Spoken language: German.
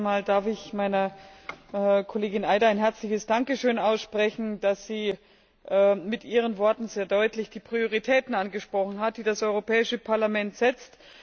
Zunächst einmal darf ich meiner Kollegin Eider ein herzliches Dankeschön aussprechen, dass sie mit ihren Worten sehr deutlich die Prioritäten angesprochen hat, die das Europäische Parlament setzt.